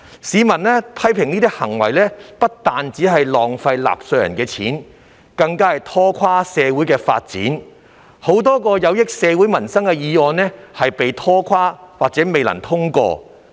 市民批評這些行為不單浪費了納稅人的金錢，更拖垮了社會發展，亦令許多有利社會民生的議案因而被拖垮或未能通過。